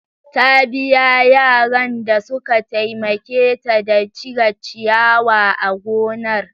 Ta biya yaran da suka taimake ta da cire ciyawa a gonar.